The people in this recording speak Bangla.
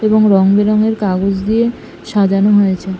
এবং রং বেরঙের কাগজ দিয়ে সাজানো হয়েছে ।